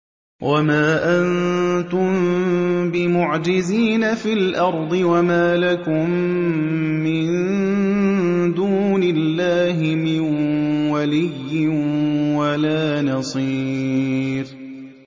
وَمَا أَنتُم بِمُعْجِزِينَ فِي الْأَرْضِ ۖ وَمَا لَكُم مِّن دُونِ اللَّهِ مِن وَلِيٍّ وَلَا نَصِيرٍ